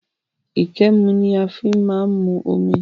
Íkémù ni a fí máa ń mu omi